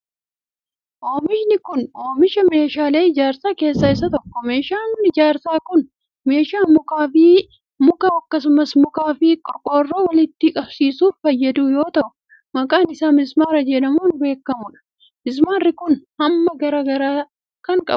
Oomishni kun, oomisha meeshaalee ijaarsaa keessaa isa tokko. Meeshaan ijaarsaa kun, meeshaa mukaa fi muka akkasumas mukaa fi qorqoorroo walitti qabsiisuuf fayyadu yoo ta'u, maqaan isaa mismaara jedhamuun beekamuu dha. Mismaarri kun, hamma garaa garaa kan qabuu dha.